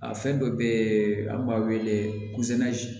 A fɛn dɔ be yen an b'a wele ko